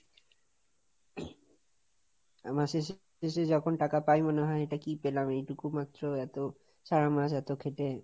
আহ মাসের শেষে যখন টাকা পাই মনে হয় এটা কি পেলাম, এইটুকু মাত্র, এতো সারা মাস এতো খেটে।